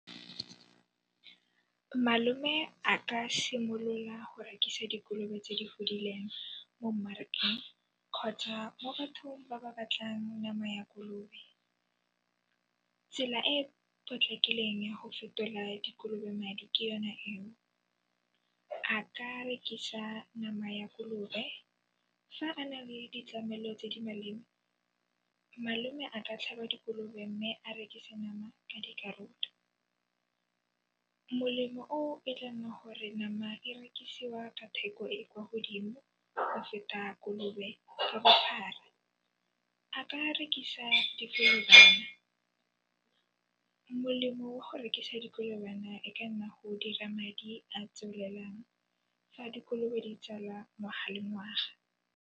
Malome a ka simolola go rekisa dikolobe tse di godileng mo mmarakeng kgotsa mo bathong ba ba batlang nama ya kolobe. Tsela e e potlakileng ya go fetola dikolobe madi ke yona eo. A ka rekisa nama ya kolobe fa a nale ditlamelo tse di malema, malome a ka tlhaba dikolobe mme a rekisa nama ka dikarolo. Molemo oo e tla nna gore nama e rekisiwe ka theko e e kwa godimo go feta kolobe ka bophara, a ka rekisa dikolobana. Molemo wa go rekisa dikolobana e ka nna go dira madi a tswelelang fa dikolobe di tsala ngwaga le ngwaga.